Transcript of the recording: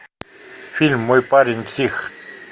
фильм мой парень псих